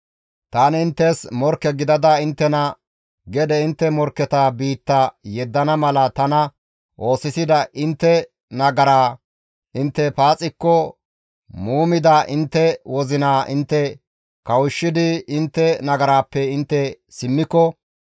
tani inttes morkke gidada inttena gede intte morkketa biitta yeddana mala tana oosisida intte nagaraa intte paaxikko muumida intte wozinaa intte kawushshidi intte nagaraappe intte simmiko,